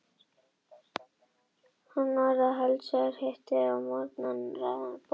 Hann bað að heilsa þér, sagðist vilja hitta þig á morgun til að ræða bókhaldið.